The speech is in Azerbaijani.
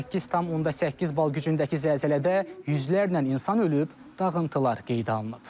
8,8 bal gücündəki zəlzələdə yüzlərlə insan ölüb, dağıntılar qeydə alınıb.